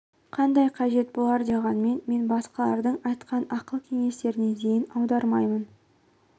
қандай қажет болар деп ойлағанмен мен басқалардың айтқан ақыл кеңестеріне зейін аудармаймын